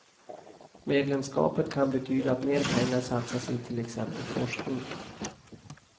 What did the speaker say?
Medlemskapet kan betyda att mer pengar satsas i till exempel forskning.